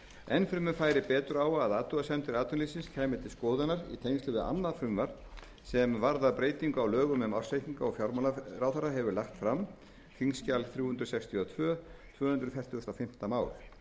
enn fremur færi betur á að athugasemdir atvinnulífsins kæmu til skoðunar í tengslum við annað frumvarp sem varðar breytingar á lögum um ársreikninga og fjármálaráðherra hefur lagt fram nefndin fellst á sjónarmið ráðuneytisins og bendir á að frumvarpið